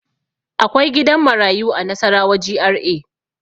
Akwai gidan marayu a Nasarawa GRA.